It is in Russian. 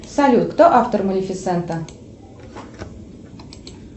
салют кто автор малефисента